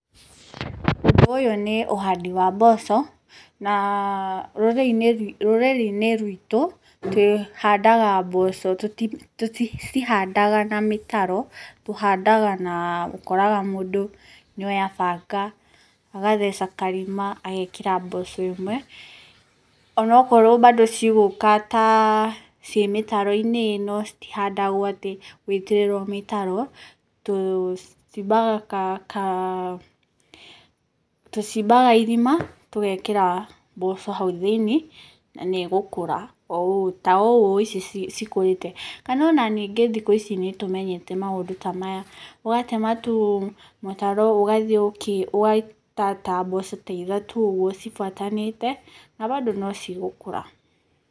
Ũyũ nĩ ũhandi wa mboco, na rũrĩrĩ-inĩ rũrĩrĩ-inĩ rwitũ tũhandaga mboco tũticihandaga na mĩtaro, tũhandaga na, ũkoraga mũndũ nĩoya banga, agatheca karima agekĩra mboco ĩmwe, onokorwo bado cigũka ta ciĩ mĩtaro-inĩ no, citihandagwo atĩ gũitĩrĩrwo mĩtaro tũcimbaga ka ka tũcimbaga irima, tũgekĩra mboco hau thĩiniĩ na nĩĩgũkũra ta ũũ ici cikũrĩte. Kana ona ningĩ thikũ ici nĩtũmenyete maũndũ ta maya, ũgatema tu mĩtaro ũgathiĩ ũgaita ta mboco ta ithatũ ũguo cibuatanĩte na bado no cigũkũra.